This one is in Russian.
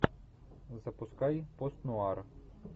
запускай пост нуар